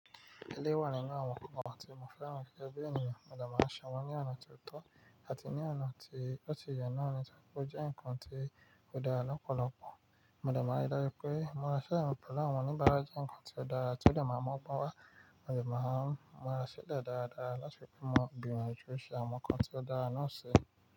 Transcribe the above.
Eléyìí wà nínú àwọn ohun kan tí mo fẹ́ràn gẹ́gẹ́ bí ènìyàn, mo dẹ̀ má ṣe wọn ní ọ̀nà tó tọ́ àti ní ọ̀nà tí ó ti yẹ náà nítorí pé ó jẹ́ nǹkan tó dára lọ́pọ̀lọpọ̀. Mo dẹ̀ má n rí dájú pé mo ra ṣẹ́yànpọ̀ láwọn oníbàárà jẹ́ ǹkan tó dára tí ó lè máa mú ọgbọ́n wá, mo dẹ̀ má n múra sílẹ̀ dáradára láti fi mú ọgbìn mi ju ẹṣin àwọn ǹkan tó dára náà ṣe.